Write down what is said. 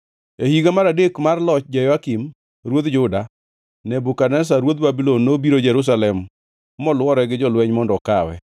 E higa mar adek mar loch Jehoyakim, ruodh Juda, Nebukadneza ruodh Babulon nobiro Jerusalem molwore gi jolweny mondo okawe.